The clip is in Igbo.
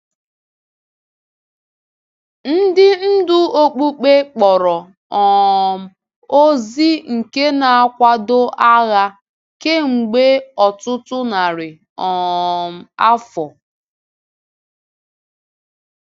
Ndị ndú okpukpe akpọrọ um ozi nke na-akwado agha kemgbe ọtụtụ narị um afọ.